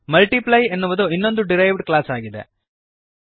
multiply ಎನ್ನುವುದು ಇನ್ನೊಂದು derived class ಆಗಿದೆ